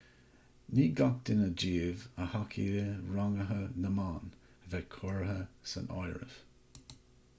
ní gach duine díobh a thacaigh le ranguithe na mban a bheith curtha san áireamh